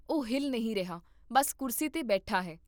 ਉਹ ਹਿਲ ਨਹੀਂ ਰਿਹਾ, ਬਸ ਕੁਰਸੀ 'ਤੇ ਬੈਠਾ ਹੈ